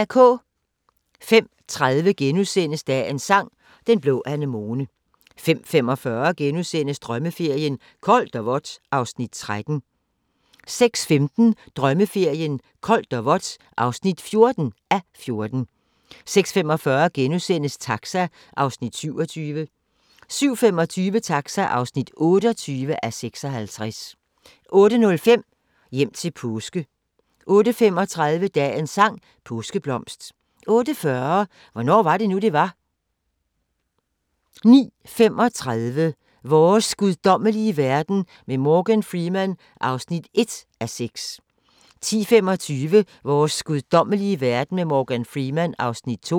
05:30: Dagens Sang: Den blå anemone * 05:45: Drømmeferien: Koldt og vådt (13:14)* 06:15: Drømmeferien: Koldt og vådt (14:14) 06:45: Taxa (27:56)* 07:25: Taxa (28:56) 08:05: Hjem til påske 08:35: Dagens sang: Påskeblomst 08:40: Hvornår var det nu, det var? 09:35: Vores guddommelige verden med Morgan Freeman (1:6) 10:25: Vores guddommelige verden med Morgan Freeman (2:6)